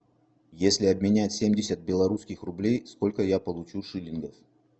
если обменять семьдесят белорусских рублей сколько я получу шиллингов